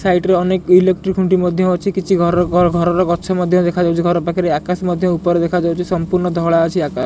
side ରେ ଅନେକ electric ଖୁଣ୍ଟି ମଧ୍ୟ ଅଛି କିଛି ଘରର ଘର ଘରର ଗଛ ମଧ୍ୟ ଦେଖାଯାଉଚି ଘର ପାଖରେ ଆକାଶ ମଧ୍ୟ ଉପରେ ଦେଖାଯାଉଚି ସମ୍ପୂର୍ଣ୍ଣ ଧଳା ଅଛି ଆକା--